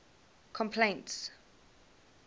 complaints